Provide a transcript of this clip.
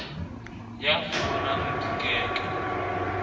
ya fumanang di ke ke